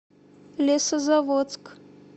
лесозаводск